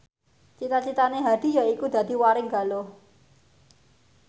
cita citane Hadi yaiku dadi warigaluh